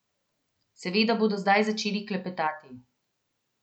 Seveda bodo zdaj začeli klepetati.